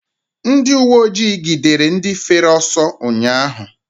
Ndị uweojii gidere ndị fere ọsọ ụnyaahụ.